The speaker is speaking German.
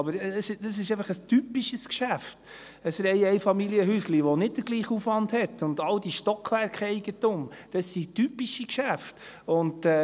Aber ein Reiheneinfamilienhäuschen ist einfach ein typisches Geschäft, das nicht denselben Aufwand hat, und auch all das Stockwerkeigentum, das sind typische Geschäfte.